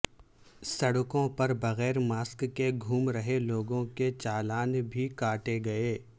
سڑکوں پر بغیر ماسک کے گھوم رہے لوگوں کے چالان بھی کاٹے گئے